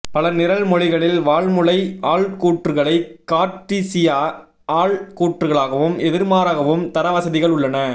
பல நிரல் மொழிகளில் வாள்முனை ஆள்கூற்றுகளை கார்ட்டீசிய ஆள்கூற்றுகாளாகவும் எதிர்மாறாகவும் தர வசதிகள் உள்ளன